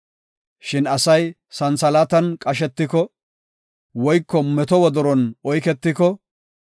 Shin asay santhalaatan qashetiko, woyko meto wodoron oyketiko,